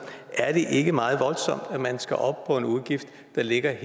er det ikke meget voldsomt at man skal op på en udgift der ligger